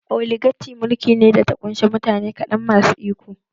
Oligaci mulki ne da ta ƙunshi mutane kaɗan masu iko